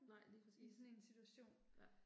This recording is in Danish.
Nej lige præcis. Ja